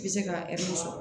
I bɛ se ka sɔrɔ